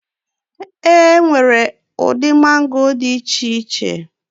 E nwere ụdị mango dị iche iche.